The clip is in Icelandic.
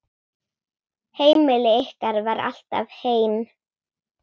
Heimili ykkar var alltaf heim.